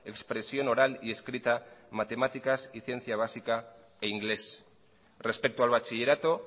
expresión oral y escrita matemáticas y ciencia básica e inglés respecto al bachillerato